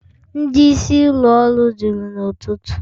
Ndị isi ụlọ ọrụ juru n'ụtụtụ